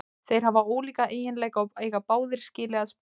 Þeir hafa ólíka eiginleika og eiga báðir skilið að spila.